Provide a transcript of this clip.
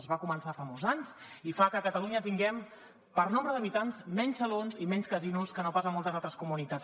es va començar fa molts anys i fa que a catalunya tinguem per nombre d’habitants menys salons i menys casinos que no pas a moltes altres comunitats